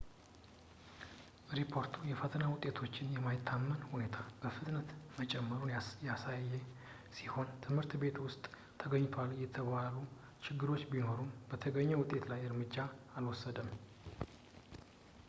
ሪፖርቱ የፈተና ውጤቶች በማይታመን ሁኔታ በፍጥነት መጨመሩን ያሳየ ሲሆን ትምህርት ቤቱ በውስጥ ተገኝቷል የተባሉ ችግሮች ቢኖሩም በተገኘው ውጤት ላይ እርምጃ አልወሰደም